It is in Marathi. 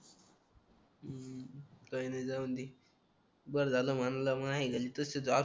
काही नाही जाऊदे बरं झालं मानला